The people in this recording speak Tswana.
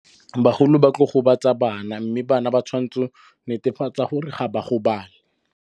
Bagolo ba tla gobatsa bana, mme bana ba tshwantse netefatsa gore ga ba gobale.